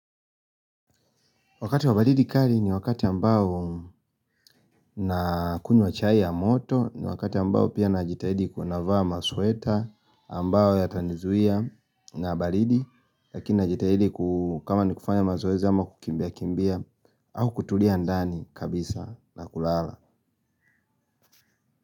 Wakati wa baridi kali ni wakati ambao na kunywa chai ya moto ni wakati ambao pia najitahidi kuvaa masweta ambao yatanizuia na baridi lakini na jitahidi kama ni kufanya mazoezi ama kukimbia kimbia au kutulia ndani kabisa na kulala.